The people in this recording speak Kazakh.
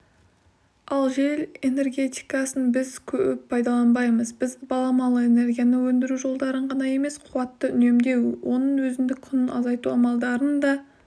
ал жел энергетикасын біз көп пайдаланбаймыз біз баламалы энергияны өндіру жолдарын ғана емес қуатты үнемдеу оның өзіндік құнын азайту амалдарын да